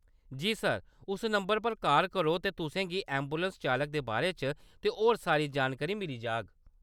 जी, sir, उस number पर call करो ते तुसें गी ऐंबुलैंस चालक दे बारे च ते होर सारी जानकारी मिली जाह्‌‌ग।